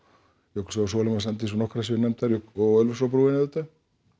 Jökulsá á Sólheimasandi svo nokkrar séu nefndar jú og Ölfusárbrúin auðvitað